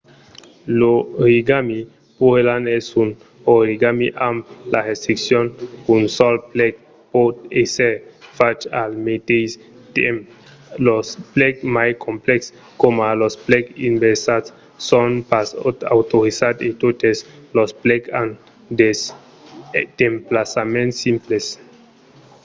l'origami pureland es un origami amb la restriccion qu'un sol plec pòt èsser fach al meteis temps los plecs mai complèxes coma los plecs inversats son pas autorizats e totes los plecs an d'emplaçaments simples